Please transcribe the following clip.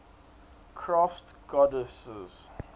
crafts goddesses